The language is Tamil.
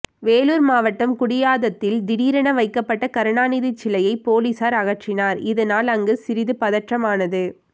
வேலூர் மாவட்டம் குடியாததில் திடீரென வைக்கப்பட்ட கருணாநிதி சிலையை போலீசார் அகற்றினர் இதனால் அங்கு சிறிது பதற்றம் ஆனது